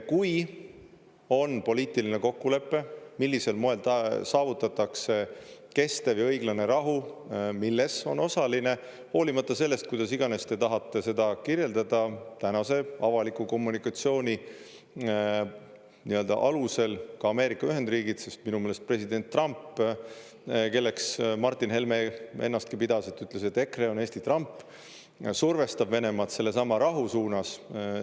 Kui on poliitiline kokkulepe, millisel moel saavutatakse kestev ja õiglane rahu, milles on osaline – hoolimata sellest, kuidas iganes te tahate seda kirjeldada – tänase avaliku kommunikatsiooni alusel ka Ameerika Ühendriigid, sest minu meelest president Trump – kelleks Martin Helme ennastki pidas, sest ütles, et EKRE on Eesti Trump – survestab Venemaad sellesama rahu suunas.